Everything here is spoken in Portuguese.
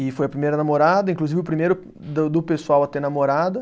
E foi a primeira namorada, inclusive o primeiro do do pessoal a ter namorada.